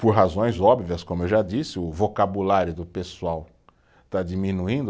Por razões óbvias, como eu já disse, o vocabulário do pessoal está diminuindo.